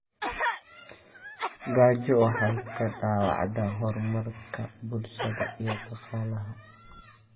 Gaajo waxay dhaawacdaa horumarka bulshada iyo dhaqaalaha.